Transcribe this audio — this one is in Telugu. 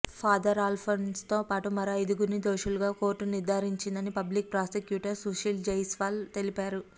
ఫాదర్ అల్ఫాన్సోతో పాటు మరో ఐదుగురిని దోషులుగా కోర్టు నిర్ధారించిందని పబ్లిక్ ప్రాసిక్యూటర్ సుశీల్ జైస్వాల్ తెలిపారు